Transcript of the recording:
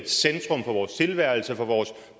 vores tilværelse og for vores